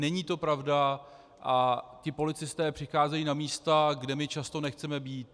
Není to pravda a ti policisté přicházejí na místa, kde my často nechceme být.